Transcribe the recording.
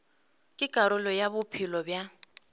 ke karolo ya bophelo bja